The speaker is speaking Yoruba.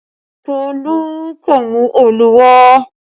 Tolu kò mú Òòlù wà